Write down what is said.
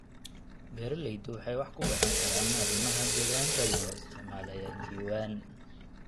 Beeraleydu waxay wax ku baran karaan arrimaha deegaanka iyagoo isticmaalaya diiwaan.